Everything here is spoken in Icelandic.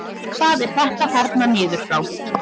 Hvað er þetta þarna niður frá?